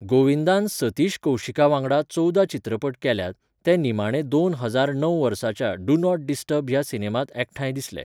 गोविंदान सतीश कौशीका वांगडा चोवदा चित्रपट केल्यात, ते निमाणे दोन हजार णव वर्साच्या 'डू नॉट डिस्टर्ब' ह्या सिनेमांत एकठांय दिसले.